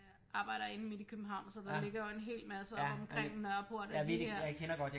Arbejder inde midt i København så der ligger jo en helt masse oppe omkring Nørreport af de her